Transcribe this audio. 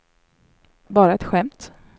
bara ett skämt